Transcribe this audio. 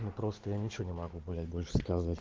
ну просто я ничего не могу блять больше сказать